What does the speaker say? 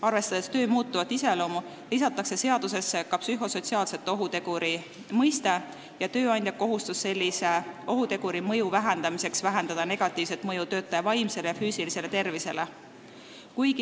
Arvestades töö muutuvat iseloomu, lisatakse seadusesse ka psühhosotsiaalse ohuteguri mõiste ja tööandja kohustus sellise ohuteguri mõju leevendamiseks vähendada negatiivset mõju töötaja vaimsele ja füüsilisele tervisele.